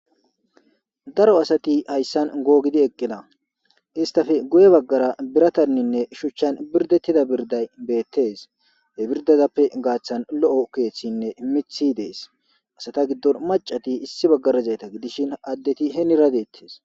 Daro asati haysan googidi eqqida istape guye baggara birataninne shuchchan birdettida birday beettees he birdaza gaathan lo7o keethinne miththi dees hessa giddora addetinne maccati deetees.